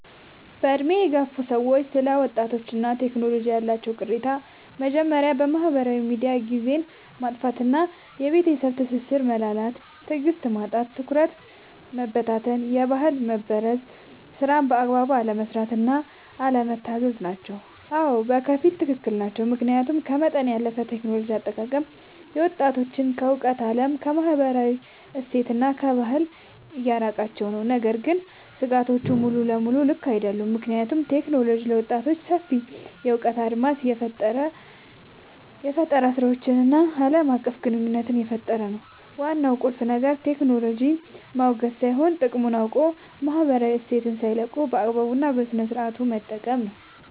በዕድሜ የገፉ ሰዎች ስለ ወጣቶችና ቴክኖሎጂ ያላቸው ቅሬታዎች የመጀመርያው በማህበራዊ ሚዲያ ጊዜን ማጥፋት እና የቤተሰብ ትስስር መላላት። የትዕግስት ማጣት፣ የትኩረት መበታተን እና የባህል መበረዝ። ስራን በአግባቡ አለመስራት እና አለመታዘዝ ናቸው። አዎ፣ በከፊል ትክክል ናቸው። ምክንያቱም ከመጠን ያለፈ የቴክኖሎጂ አጠቃቀም ወጣቶችን ከእውነተኛው ዓለም፣ ከማህበረሰብ እሴትና ከባህል እያራቃቸው ነው። ነገር ግን ስጋቶቹ ሙሉ በሙሉ ልክ አይደሉም፤ ምክንያቱም ቴክኖሎጂ ለወጣቶች ሰፊ የእውቀት አድማስን፣ የፈጠራ ስራዎችን እና ዓለም አቀፍ ግንኙነት እየፈጠረ ነው። ዋናው ቁልፍ ነገር ቴክኖሎጂን ማውገዝ ሳይሆን፣ ጥቅሙን አውቆ ማህበራዊ እሴትን ሳይለቁ በአግባቡ እና በስነሥርዓት መጠቀም ነው።